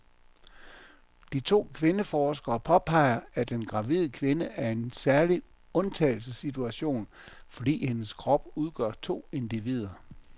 De to kvindeforskere påpeger, at en gravid kvinde er i en særlig undtagelsessituation, fordi hendes krop udgør to individer.